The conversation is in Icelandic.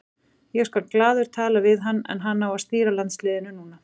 Ég skal glaður tala við hann en hann á að stýra landsliðinu núna.